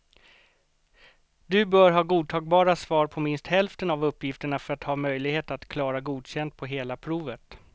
Du bör ha godtagbara svar på minst hälften av uppgifterna för att ha möjlighet att klara godkänd på hela provet.